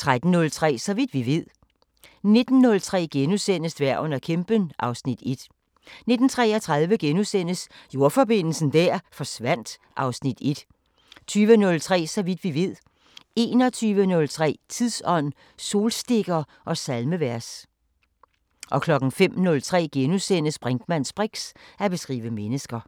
13:03: Så vidt vi ved 19:03: Dværgen og kæmpen (Afs. 1)* 19:33: Jordforbindelsen der forsvandt (Afs. 1)* 20:03: Så vidt vi ved 21:03: Tidsånd: Solstikker og salmevers 05:03: Brinkmanns briks: At beskrive mennesker *